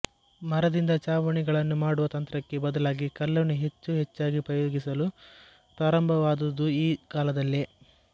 ಮರದಿಂದ ಚಾವಣಿ ಗಳನ್ನು ಮಾಡುವ ತಂತ್ರಕ್ಕೆ ಬದಲಾಗಿ ಕಲ್ಲನ್ನು ಹೆಚ್ಚು ಹೆಚ್ಚಾಗಿ ಉಪಯೋಗಿಸಲು ಪ್ರಾರಂಭ ವಾದುದೂ ಈ ಕಾಲದಲ್ಲೇ